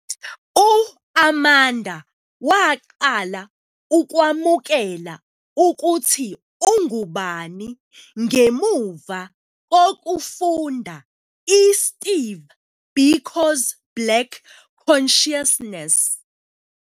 U-Amanda waqala ukwamukela ukuthi ungubani ngemuva kokufunda iSteve Biko's Black Consciousness.